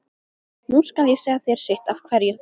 Nú skal ég segja þér sitt af hverju.